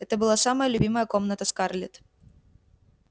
это была самая любимая комната скарлетт